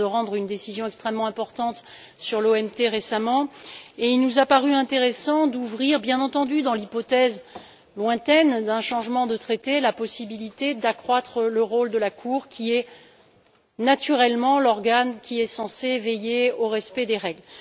Elle vient de rendre une décision extrêmement importante sur l'OMT et il nous a paru intéressant d'envisager, bien entendu dans l'hypothèse lointaine d'un changement de traité, la possibilité d'accroître le rôle de la Cour, qui est naturellement l'organe qui est censé veiller au respect des règles.